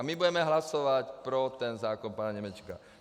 A my budeme hlasovat pro ten zákon pana Němečka.